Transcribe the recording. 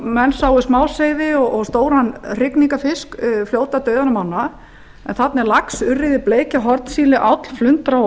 menn sáu smáseiði og stóran hrygningarfisk fljóta dauðan um ána en þarna er lax urriði bleikja hornsíli áll flundra